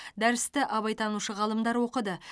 дәрісті абайтанушы ғалымдар оқыды